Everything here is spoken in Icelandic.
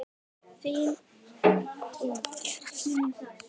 Þín, Inger.